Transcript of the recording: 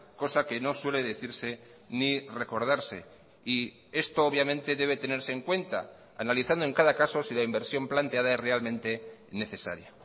cosa que no suele decirse ni recordarse y esto obviamente debe tenerse en cuenta analizando en cada caso si la inversión planteada es realmente necesaria